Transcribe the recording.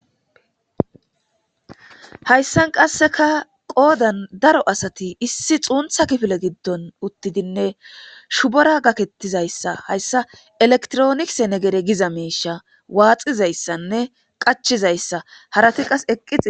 hayssan qasseka qoodan daro asati issi xuuntha kifile giddon uttidinne shubora gakettizayssa hayssa elektronise negere giza miisha waaxizayssanne qachizayssa harati qas eqqi